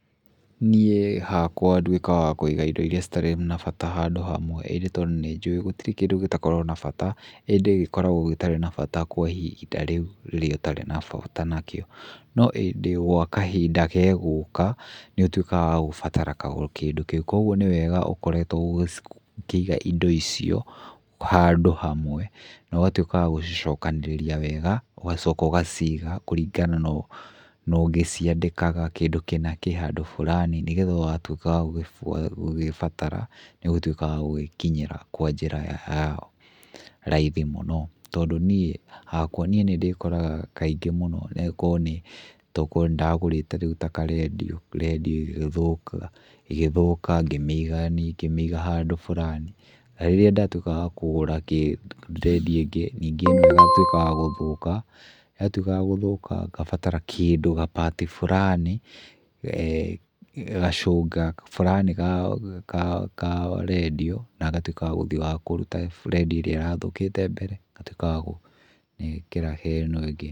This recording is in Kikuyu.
Niĩ hakwa ndwĩkaga wa kũĩga ĩndo iria citarĩ na bata handũ hamwe, indĩ tondũ nĩnjũĩ gũtirĩ kĩndũ gĩtakoragwo na bata, ĩndĩ gĩkoragwo gĩtarĩ na bata kwa ĩhĩnda rĩu rĩrĩa ũtarĩ na bata nakĩo. No ĩndĩ gwa kahinda gegũka, nĩũtuĩkaga wa gũbatara kĩndũ kĩu. Kũoguo nĩ wega ũkoretwo ũgĩkĩiga indo icio handũ hamwe. Na ũgatwĩka wa gũcicokanĩrĩria wega, ũgacooka ũgaciiga kũringana na, na ũgĩciandĩkaga, kĩndũ kĩna kĩ handũ burani nĩ getha watwĩka wa gũkĩbatara, nĩũgũtwĩka wa gũgĩkinyĩra kwa njĩra ya raithi mũno. Tondũ niĩ hakwa niĩ nĩ ndĩkoraga kaingĩ mũno, no goro nĩ takorwo ni ndagũrĩĩte rĩũ ta karendiũ, rendiũ ĩgĩthũka, ngĩmĩiga, niĩ ngimiiga handũ burani. na rĩrĩa ndatwika wa kũgũra kĩ, rendiũ ĩngĩ ningĩ ĩno ĩgatwĩka ya gũthũka. Yatwĩka ya gũthũka ngabatara kĩndũ, ga part burani, gacũga furani ga, ka, ka rendiũ na ngatwĩka wa gũthiĩ wa kũruta he rendio ĩrĩa ĩrathũkĩĩte mbere ngatwĩka wa gũgekĩra he ĩno ĩngĩ.